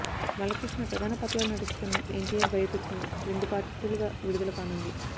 బాలకృష్ణ ప్రధాన పాత్రలో నటిస్తున్న ఎన్టీఆర్ బయోపిక్ను రెండు పార్టులుగా విడుదల కానుంది